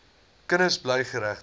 kinders bly geregtig